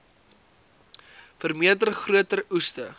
vermeerder groter oeste